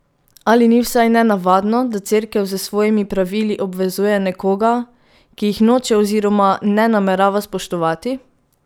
Ali ni vsaj nenavadno, da Cerkev s svojimi pravili obvezuje nekoga, ki jih noče oziroma ne namerava spoštovati?